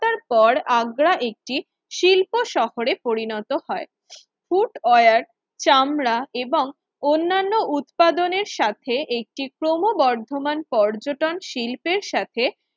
র পর আগ্রা একটি শিল্প শহরে পরিণত হয় ফুট ওয়ার, চামড়া এবং অন্যান্য উৎপাদনের সাথে একটি ক্রমবর্ধমান পর্যটন শিল্পের সাথে